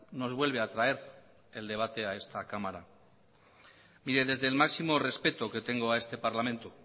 nos vuelve a traer el debate a esta cámara mire desde el máximo respeto que tengo a este parlamento